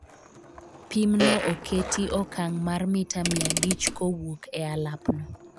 pimno oketi okang' mar mita mia abich kowuok e alapno